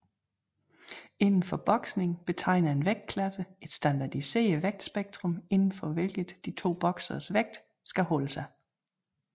Inden for boksning betegner en vægtklasse et standardiseret vægtspektrum inden for hvilket de to bokseres vægt skal holde sig